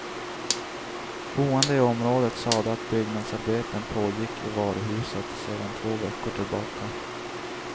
Boende i området sade att byggnadsarbeten pågick i varuhuset sedan två veckor tillbaka.